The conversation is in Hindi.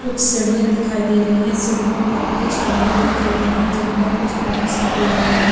कुछ सिड़ियां दिखाई दे रही हैं सिड़ियों पर कुछ गमले रखे हुए हैं जिनमें कुछ प्लांट्स लगे हुए हैं।